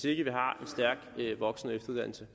ikke har en stærk voksen og efteruddannelse